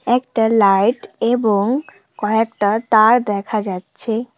একটা লাইট এবং কয়েকটা তার দেখা যাচ্ছে।